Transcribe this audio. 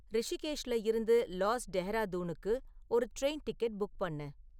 ரிஷிகேஷ்ல இருந்து லாஸ் டெஹ்ராதூனுக்கு ஒரு ட்ரெயின் டிக்கெட் புக் பண்ணு